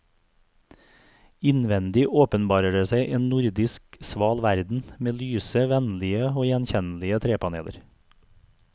Innvendig åpenbarer det seg en nordisk sval verden, med lyse, vennlige og gjenkjennelige trepaneler.